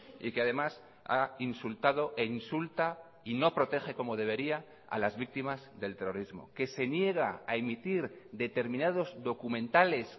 y que además ha insultado e insulta y no protege como debería a las víctimas del terrorismo que se niega a emitir determinados documentales